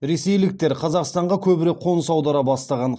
ресейліктер қазақстанға көбірек қоныс аудара бастаған